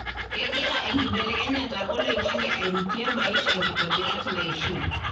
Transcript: kengira enkibelekenyata oloingange airutie maisha nkitobirat naishiu.